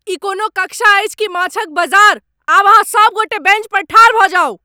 ई कोनो कक्षा अछि कि माछक बजार? आब अहाँ सभगोटे बेंच पर ठाढ़ भऽ जाउ।